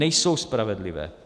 Nejsou spravedlivé.